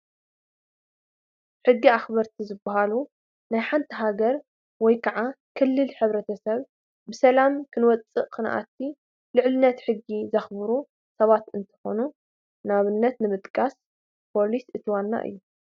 ሕጊ ኣኽበርቲ ዝባሃሉ ናይ ሓንቲ ሃገር ወይ ከዓ ክልል ሕብረተሰብ ብሰላም ክወፅእን ክኣቱን ልዕልነት ሕጊ ዘኽብሩ ሰባት እንትኾኑ ንኣብነት ንምጥቃስ ፖሊስ እቲ ዋና እዩ፡፡